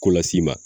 Ko las'i ma